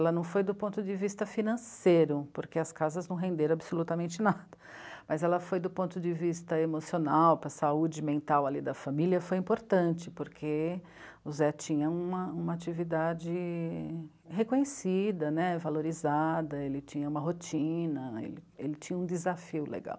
Ela não foi do ponto de vista financeiro, porque as casas não renderam absolutamente nada, mas ela foi do ponto de vista emocional, para a saúde mental ali da família, foi importante, porque o Zé tinha uma uma atividade reconhecida, né, valorizada, ele tinha uma rotina, ele ele tinha um desafio legal.